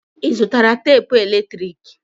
Ị zụtara tapụ eletrik?